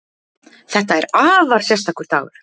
Þetta er afar sérstakur dagur